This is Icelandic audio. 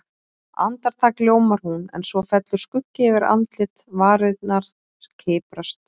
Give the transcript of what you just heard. Andartak ljómar hún, en svo fellur skuggi yfir andlitið, varirnar kiprast.